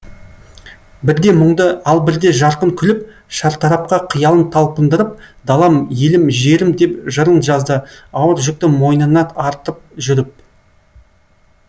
бірде мұңды ал бірде жарқын күліп шартарапқа қиялын талпындырып далам елім жерім деп жырын жазды ауыр жүкті мойынына артып жүріп